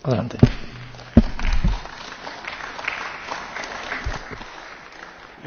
Wenn Sie richtig zugehört hätten, Frau von Storch, dann hätten Sie mich auch richtig verstanden.